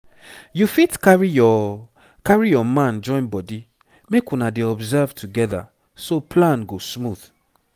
you fit carry your carry your man join body make una dey observe together so plan go smooth.